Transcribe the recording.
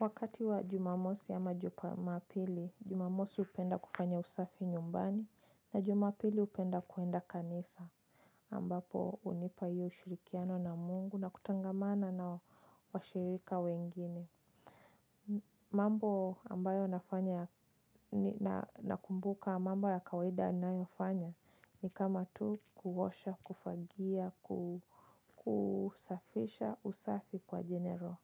Wakati wa jumamosi ama jumapili, jumamosi hupenda kufanya usafi nyumbani, na jumapili hupenda kuenda kanisa, ambapo hunipa hiyo ushirikiano na mungu na kutangamana na washirika wengine. Mambo ambayo nafanya na kumbuka mambo ya kawaida ninayofanya ni kama tu kuosha, kufagia, kusafisha usafi kwa general.